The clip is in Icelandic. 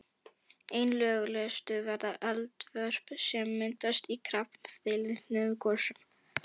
Einna lögulegust verða eldvörp sem myndast í kraftlitlum gosum.